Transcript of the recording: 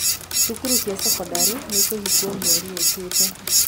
Thukuru cia thekondarĩ nĩikũhingũo mweri ũkĩte.